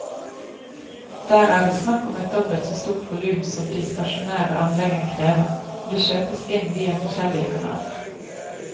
Der er det snakk om et dobbelt så stort volum som de stasjonære anleggene krever, og det kjøpes inn via forskjellige kanaler.